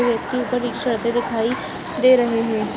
दिखाई दे रहे हैं।